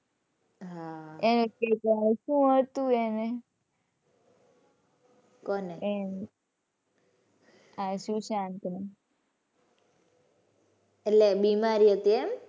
હાં શું હતું એને? કોને? આ સુશાંત ને. એટલે બીમારી હતી એમ?